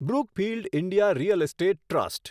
Brookfield India real estate trust